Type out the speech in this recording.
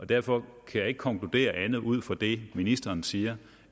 derfor kan jeg ikke konkludere andet ud fra det ministeren siger